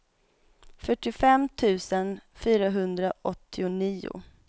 fyrtiofem tusen fyrahundraåttionio